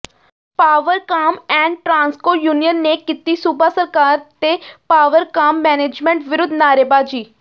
Powercom and Transco union ਨੇ ਕੀਤੀ ਸੂਬਾ ਸਰਕਾਰ ਤੇ ਪਾਵਰਕਾਮ ਮੈਨੇਜਮੈਂਟ ਵਿਰੁੱਧ ਨਾਅਰੇਬਾਜ਼ੀ